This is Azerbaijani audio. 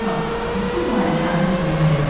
bütün malikanə bir-birinə dəymişdi.